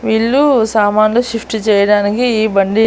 ఇల్లు సామాన్లు షిఫ్ట్ చేయడానికి ఈ బండి--